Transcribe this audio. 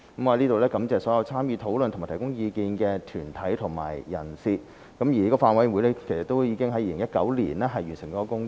我在此感謝所有參與討論和提供意見的團體和人士，而法案委員會已在2019年完成了工作。